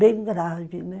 Bem grave, né?